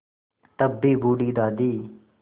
तब भी बूढ़ी दादी